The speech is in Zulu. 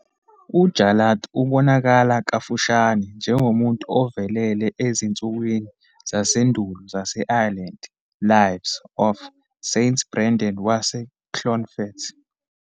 UJarlath ubonakala kafushane njengomuntu ovelele ezinsukwini zasendulo zase-Ireland "Lives" of St Brendan waseClonfert.